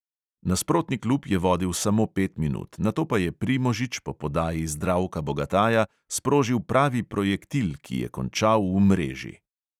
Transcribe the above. Nasprotni klub je vodil samo pet minut, nato pa je primožič po podaji zdravka bogataja sprožil pravi projektil, ki je končal v mreži.